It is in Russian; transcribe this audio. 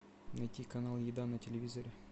найти канал еда на телевизоре